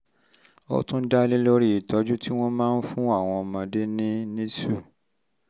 ó tún dá lórí irú ìtọ́jú tí wọ́n ń fún àwọn ọmọdé ní nicu